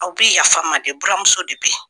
Aw bi yafa dɛ buranmuso de be yen